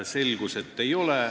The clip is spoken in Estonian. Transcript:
Selgus, et ei ole.